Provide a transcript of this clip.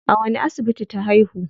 A wani asibiti ta haihu?